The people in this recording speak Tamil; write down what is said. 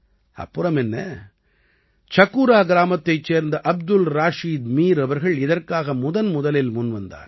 அப்புறமென்ன சகூரா கிராமத்தைச் சேர்ந்த அப்துல் ராஷீத் மீர் அவர்கள் இதற்காக முதன்முதலில் முன்வந்தார்